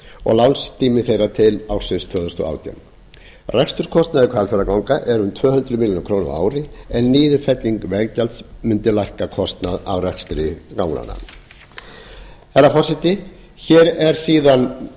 og lánstími þeirra til ársins tvö þúsund og átján reksturskostnaður hvalfjarðarganga eru tvö hundruð milljóna króna á ári en niðurfelling veggjalds mundi lækka kostnað af rekstri ganganna herra forseti hér eru síðan